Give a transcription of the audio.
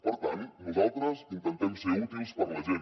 per tant nosaltres intentem ser útils per a la gent